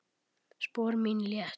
Spor mín létt.